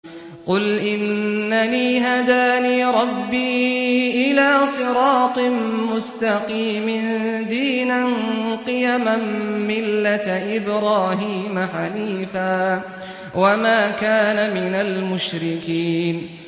قُلْ إِنَّنِي هَدَانِي رَبِّي إِلَىٰ صِرَاطٍ مُّسْتَقِيمٍ دِينًا قِيَمًا مِّلَّةَ إِبْرَاهِيمَ حَنِيفًا ۚ وَمَا كَانَ مِنَ الْمُشْرِكِينَ